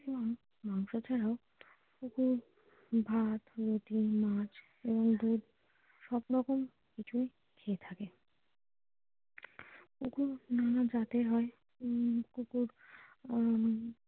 এবং মাংস ছাড়াও কুকুর ভাত রুটি মাছ এবং দুধ সবরকম কিছু খেয়ে থাকে কুকুর নানা জাতের হয় উম কুকুর উম ।